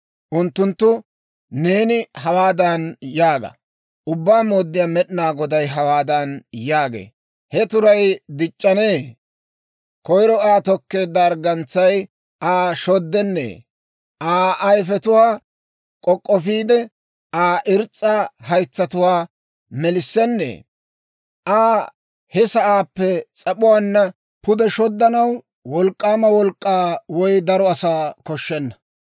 «Unttunttoo neeni hawaadan yaaga; ‹Ubbaa Mooddiyaa Med'inaa Goday hawaadan yaagee; «He turay dic'c'anee? Koyiro Aa tokkeedda arggantsay Aa shoddennee? Aa ayifetuwaa k'ok'k'ofiide, Aa irs's'a haytsatuwaa melissennee? Aa he sa'aappe s'ap'uwaanna pude shoddanaw wolk'k'aama wolk'k'aa, woy daro asaa koshshenna.